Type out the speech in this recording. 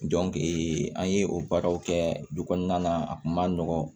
an ye o baaraw kɛ du kɔnɔna na a kun ma nɔgɔn